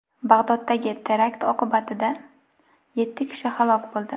Bag‘doddagi terakt oqibatida yetti kishi halok bo‘ldi.